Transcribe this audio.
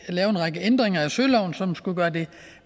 række ændringer af søloven som skulle gøre det